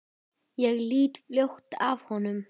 Ég lít fljótt af honum.